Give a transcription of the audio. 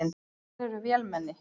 Þær eru vélmenni.